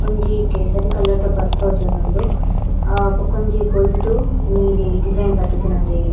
ಒಂಜಿ ಕೇಸರಿ ಕಲರ್ದ ಬಸ್ಸ್ ತೋಜೊಂದುಂಡು ಅ ಬಕೊಂಜಿ ಬೊಲ್ದು ನೀಲಿ ಡಿಸೈನ್ ಬತ್ತುದಿನ ಒಂಜಿ.